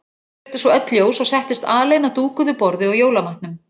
Kveikti svo öll ljós og settist alein að dúkuðu borði og jólamatnum.